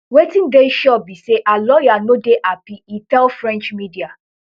wetin dey sure be say her lawyer no dey happy e tell french media